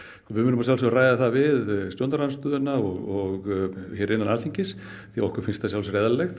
við munum að sjálfsögðu ræða það við stjórnarandstöðuna og hér innan Alþingis því okkur finnst að sjálfsögðu eðlilegt